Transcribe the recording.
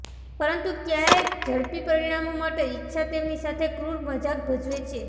પરંતુ ક્યારેક ઝડપી પરિણામો માટે ઇચ્છા તેમની સાથે ક્રૂર મજાક ભજવે છે